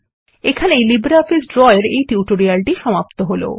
এখানেই LibreOffice Draw এর এই টিউটোরিয়ালটি সমাপ্ত হল